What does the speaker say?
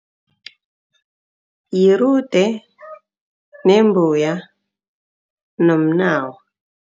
Yirude, nembuya nomnawa.